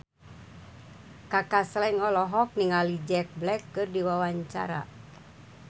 Kaka Slank olohok ningali Jack Black keur diwawancara